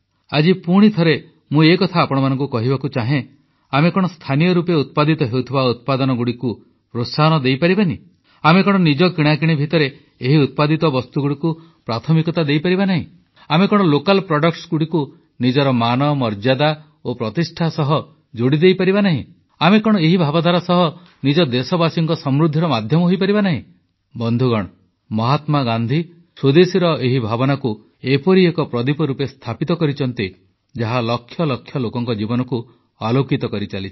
ଆଜି ପୁଣିଥରେ ମୁଁ ଏକଥା ଆପଣମାନଙ୍କୁ କହିବାକୁ ଚାହେଁ ଆମେ କଣ ସ୍ଥାନୀୟ ରୂପେ ଉତ୍ପାଦିତ ହେଉଥିବା ଉତ୍ପାଦନଗୁଡ଼ିକୁ ପ୍ରୋତ୍ସାହନ ଦେଇପାରିବା ନାହିଁ ଆମେ କଣ ନିଜ କିଣାକିଣି ଭିତରେ ଏହି ଉତ୍ପାଦିତ ବସ୍ତୁଗୁଡ଼ିକୁ ପ୍ରାଥମିକତା ଦେଇପାରିବା ନାହିଁ ଆମେ କଣ ସ୍ଥାନୀୟ ଉତ୍ପାଦଗୁଡ଼ିକୁ ଆମର ମାନ ମର୍ଯ୍ୟାଦା ଓ ପ୍ରତିଷ୍ଠା ସହ ଯୋଡ଼ିଦେଇପାରିବା ନାହିଁ ଆମେ କଣ ଏହି ଭାବଧାରା ସହ ନିଜ ଦେଶବାସୀଙ୍କ ସମୃଦ୍ଧିର ମାଧ୍ୟମ ହୋଇପାରିବା ନାହିଁ ବନ୍ଧୁଗଣ ମହାତ୍ମାଗାନ୍ଧୀ ସ୍ୱଦେଶୀର ଏହି ଭାବନାକୁ ଏପରି ଏକ ପ୍ରଦୀପ ରୂପେ ସ୍ଥାପିତ କରିଛନ୍ତି ଯାହା ଲକ୍ଷ ଲକ୍ଷ ଲୋକଙ୍କ ଜୀବନକୁ ଆଲୋକିତ କରିଚାଲିଛି